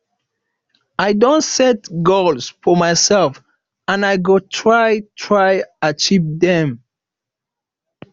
i don set goals for mysef and i go try try achieve dem